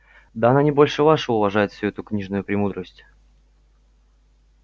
да они больше вашего уважает всю эту книжную премудрость